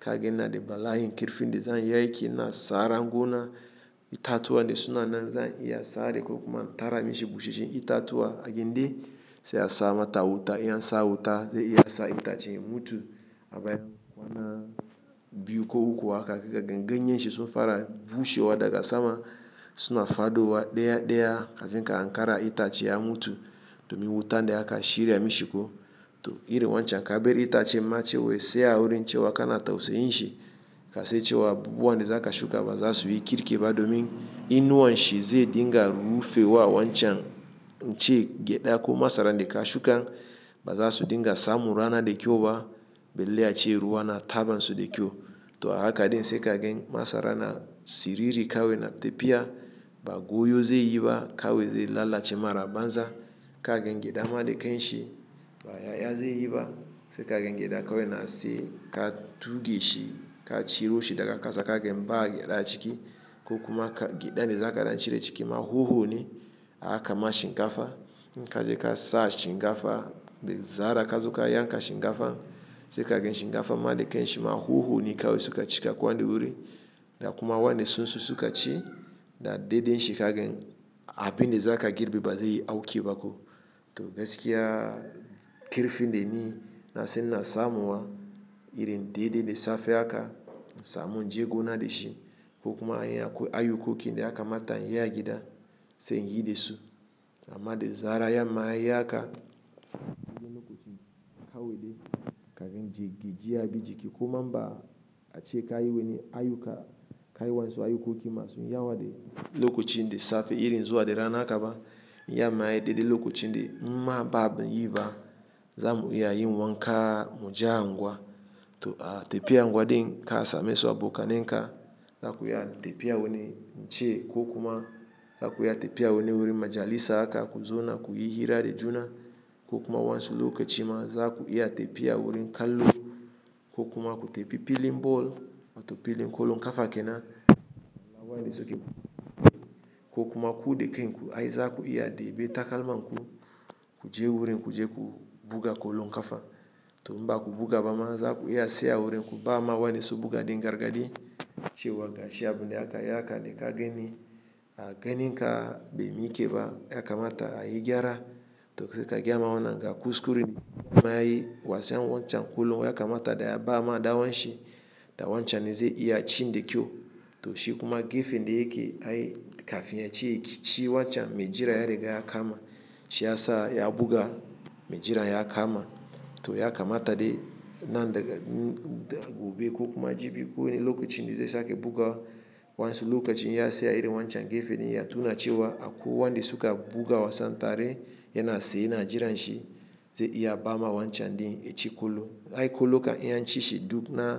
Ka gan na da bala'in kirfin da zan yi aiki na sara gona, itatuwa da suna nan zan iya sare ko kuma tara mishi busheshen itatuwa. A gidan sai a sama ta wuta, iya sa wuta, zai iya sa itacen mutum a baya wannan biyu ko uku haka. Ka gan ganye shisu fara bushewa daga sama suna fadowa ɗaya ɗaya. Kafin ka ankara itace ya mutu domin wuta ne aka shirya mishi ko. To irin wancan ka bar itacen matsewa sai a wurin cewa kana tausayin shi. Ka sai cewa abubuwan ne za ka shuka ba za su yi kirki ba domin inuwan shi zai dinga rufe wa wancan in ce gyada ko masara da ka shuka ba za su dinga samu rana da kyau ba. Belle a ce ruwa yana taba su da kyau. To haka dai sai ka gan masara na siriri kawai na tafiya, ba goyo zai yi ba kawai zai lalace masara a banza. Ka gan gyada ma da kanshi ba ya ya zai yi ba. Sai ka gan ya da kawai na sai ka tuge shi, ka ciro shi daga kasa. Ka gan mba ya da ciki ko kuma gyada da za ka dan cire jiki. Ma huhu ne aka masa shinkafa. In ka je ka sa shinkafa da zarar ka zo ka yanka shinkafa. Sai ka gan shinkafa ma da kai shi ma huhu ne kawai suka cika kwan wurin. Da kuma wannan sun susu ka ci da dai dai shi ka gan abin da za ka girbe ba zai yi auki ba ko. To gaskiya karfin da ni na san ina samuwa irin dai dai da safe haka in samu in je gona da shi ko kuma in akwai ayukoki da ya kamata inyi agida sai inyi da su. Amma da zarar yamma yayi haka, wajen lokacin kawai dai ka gan je gajiya ya bi jiki. Kuma ba a ce ka yi wani ayuka ka yi wansu ayukoki masu yawa da lokacin dai safe iri zuwa da rana aka ba yamma dai dai lokacin dai mma ba abu yayi ba. Za mu iya yin wanka muje anguwa. To a tafi anguwa din ka same su abokanen ka za ku iya tafiya wani in ce ko kuma za ku iya tafiya wani wurin majalisa aka ku zauna ku yi hira da juna ko kuma wansu lokaci ma za ku iya tafiya wurin kallo ko kuma ku tafi filin ball wato filin ƙolo ƙafa kenan. Kawai da suke buga goyi ko kuma ku deka yin ku ai za ku iya debi takalma ku ku je wurin ku je ku buga ƙolo ƙafa. To mba ku buga ba ma za ku iya saya wurin ku ba ma wannan sobuga din gargadi cewa gashi abu ne aka yaka da ka gani. A ganin ka bai mi ke ba ya kamata a yi gyara. To sai ka gyama wannan ga kuskure mma yayi wasan wancan ƙolo ya kamata daya ba ma ɗawanshi. Da wancan zai iya ci da kyau. To shi kuma gefen dai yake ai kafin ya ci wancan mai jira ya riga ya kama. Shi ya sa ya buga mai jira ya kama. To ya kamata dai nan daga gobe ko kuma jibi ko wani lokacin dai sai ake buga wansu lokacin ya saya iri wancan gefen dai ya tuna cewa akwai wanda suka buga wasan tare yana siye ya na jiran shi zai iya ba ma wancan din a ci ƙolo. Ai ƙolo ka iya ci shi duk na.